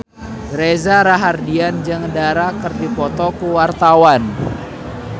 Reza Rahardian jeung Dara keur dipoto ku wartawan